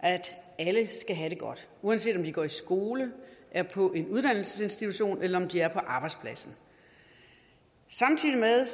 at alle skal have det godt uanset om de går i skole er på en uddannelsesinstitution eller om de er på arbejdspladsen samtidig